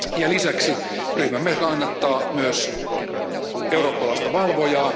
Lisäksi ryhmämme kannattaa myös eurooppalaista valvojaa.